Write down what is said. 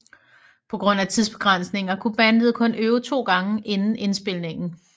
På grund af tidsbegrænsninger kunne bandet kun øve to gange inden indspilningen